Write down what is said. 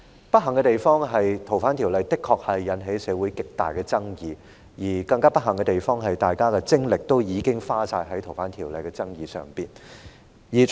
不幸的地方，是《逃犯條例》的修訂的確引起社會極大的爭議，而更不幸的地方，是大家的精力已經盡花在有關修訂《逃犯條例》的爭議上。